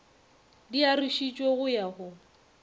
di arošitšwego go ya go